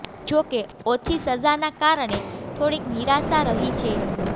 જો કે ઓછી સજાના કારણે થોડીક નિરાશા રહી છે